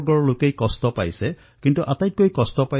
তেওঁলোকৰ দুখ কষ্ট তেওঁলোকৰ পীড়া শব্দেৰে বৰ্ণনা কৰিব নোৱাৰি